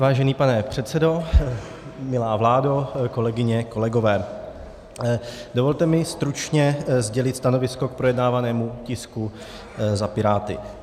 Vážený pane předsedo, milá vládo, kolegyně, kolegové, dovolte mi stručně sdělit stanovisko k projednávanému tisku za Piráty.